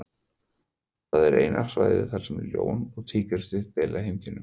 Það er eina svæðið þar sem ljón og tígrisdýr deila heimkynnum.